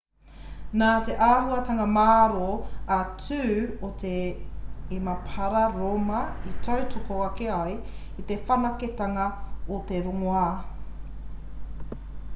nā te āhuatanga mārō a tū o te emapara rōma i tautoko ake ai te whanaketanga o te rongoā